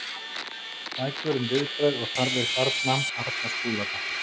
Bækur um viðbrögð og þarfir barna Arna Skúladóttir.